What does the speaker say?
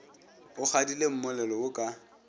o kgadile mmolelo wo ka